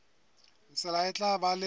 tsela e tla ba le